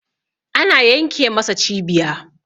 ana yenke masa cibiya